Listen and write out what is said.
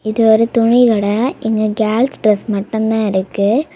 இது ஒரு துணி கட எங்க கேர்ள்ஸ் ட்ரஸ் மட்டும் தான் இருக்கு.